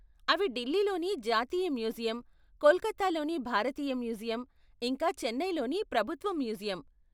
అవి ఢిల్లీలోని జాతీయ మ్యూజియం, కోల్కతాలోని భారతీయ మ్యూజియం, ఇంకా చెన్నైలోని ప్రభుత్వ మ్యూజియం.